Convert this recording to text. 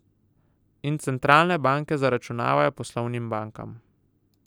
In centralne banke zaračunavajo poslovnim bankam.